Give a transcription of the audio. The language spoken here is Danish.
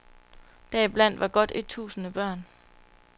Deriblandt var godt et tusinde børn.